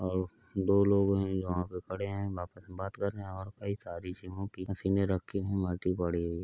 और दो लोग यहाँ पे खड़े है आपस में बात कर रहे है और कई सारी जीमो की मशीने रखी है माटी पड़ी हुई है।